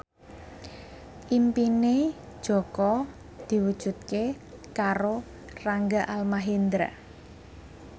impine Jaka diwujudke karo Rangga Almahendra